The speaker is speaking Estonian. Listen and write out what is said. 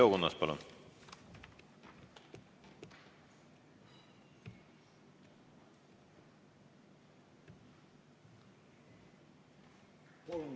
Leo Kunnas, palun!